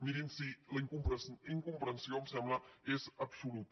mirin sí la incomprensió em sembla que és absoluta